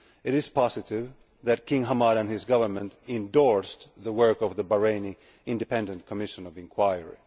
It is positive that King Hamad and his government endorsed the work of the Bahraini Independent Commission of Inquiry.